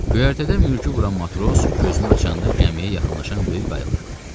Göyərtədə mürgü vuran matros gözünü açanda gəmiyə yaxınlaşan böyük qayığı gördü.